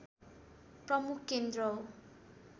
प्रमुख केन्द्र हो